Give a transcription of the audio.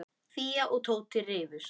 Fía og Tóti rifust.